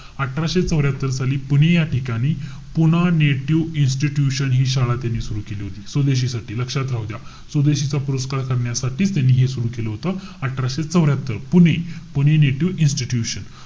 अठराशे चौर्यात्तर साली पुणे या ठिकाणी पुणं नेटिव्ह इन्स्टिट्यूशन हि शाळा त्यांनी सुरु केली होती. स्वदेशीसाठी, लक्षात राहू द्या. स्वदेशीचा पुरस्कार करण्यासाठी त्यांनी हे सुरु केलं होतं. अठराशे चौर्यात्तर, पुणे. Pune native institution.